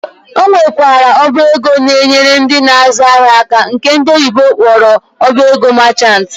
Ọ nwekwara ọba ego nke na-enyere ndị na-azụ ahịa aka nke ndị oyibo kpọrọ ọba ego merchant.